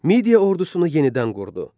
Midiya ordusunu yenidən qurdu.